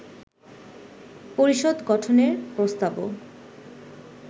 পরিষদ গঠনের প্রস্তাবও